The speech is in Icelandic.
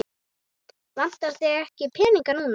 Vantar þig ekki peninga núna?